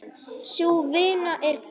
Sú vinna er góð.